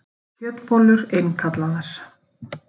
Kjötbollur innkallaðar